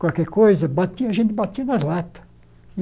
qualquer coisa, batia a gente batia na lata.